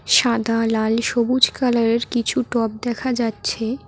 সাদা লাল সবুজ কালারের কিছু টব দেখা যাচ্ছে।